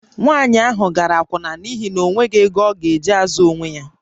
Nwaanyị ahụ gara akwụna n’ihi na o nweghị ego ọ ga-eji na-azụ onwe ya